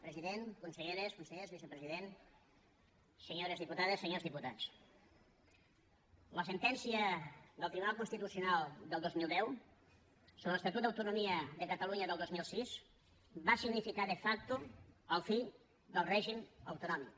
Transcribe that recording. president conselleres consellers vicepresident senyores diputades senyores diputats la sentència del tribunal constitucional del dos mil deu sobre l’estatut d’autonomia de catalunya del dos mil sis va significar de factotonòmic